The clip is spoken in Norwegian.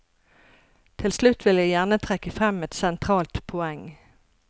Til slutt vil jeg gjerne trekke frem et sentralt poeng.